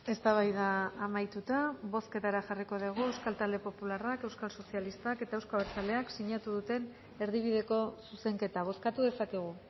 eztabaida amaituta bozketara jarriko dugu euskal talde popularrak euskal sozialistak eta euzko abertzaleak sinatu duten erdibideko zuzenketa bozkatu dezakegu